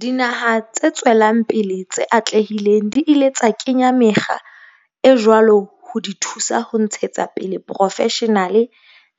Dinaha tse tswelang pele tse atlehileng di ile tsa kenya mekgwa e jwalo ho di thusa ho ntshetsa pele boprofeshenale